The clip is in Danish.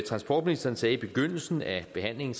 transportministeren sagde i begyndelsen af behandlingen